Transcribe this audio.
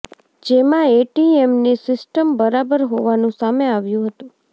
જેમાં એટીએમની સિસ્ટમ બરાબર હોવાનું સામે આવ્યું હતું